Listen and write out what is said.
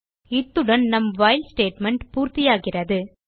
இத்துடன் நம் while statement பூர்த்தியாகிறது